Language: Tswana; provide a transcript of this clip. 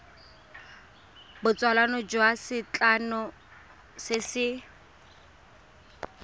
botsalano jwa setlamo se se